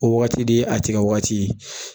O wagati de ye a tigɛ wagati ye